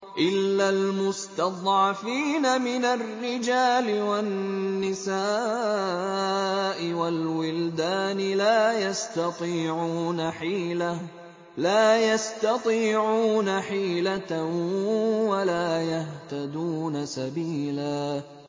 إِلَّا الْمُسْتَضْعَفِينَ مِنَ الرِّجَالِ وَالنِّسَاءِ وَالْوِلْدَانِ لَا يَسْتَطِيعُونَ حِيلَةً وَلَا يَهْتَدُونَ سَبِيلًا